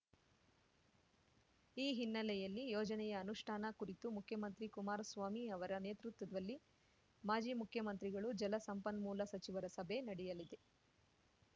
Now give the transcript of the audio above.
ಈ ಹಿನ್ನೆಲೆಯಲ್ಲಿ ಯೋಜನೆಯ ಅನುಷ್ಠಾನ ಕುರಿತು ಮುಖ್ಯಮಂತ್ರಿ ಕುಮಾರಸ್ವಾಮಿ ಅವರ ನೇತೃತ್ವದಲ್ಲಿ ಮಾಜಿ ಮುಖ್ಯಮಂತ್ರಿಗಳು ಜಲಸಂಪನ್ಮೂಲ ಸಚಿವರ ಸಭೆ ನಡೆಯಲಿದೆ